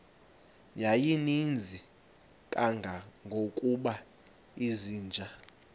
yayininzi kangangokuba izinja